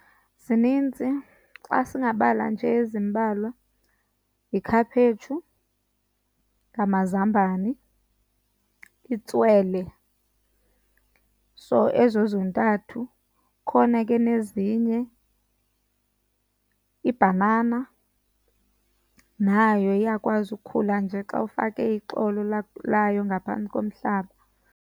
Zininzi, xa singabala nje ezimbalwa yikhaphetshu, ngamazambane, itswele, so ezo zontathu. Kukhona ke nezinye. Ibhanana nayo iyakwazi ukukhula nje xa ufake ixolo layo ngaphantsi komhlaba.